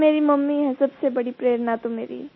sir मेरे mummy है सबसे बड़ी प्रेरणा तो मेरी